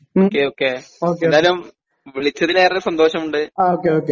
എന്തായാലും വിളിച്ചതിൽ സന്തോഷമുണ്ട്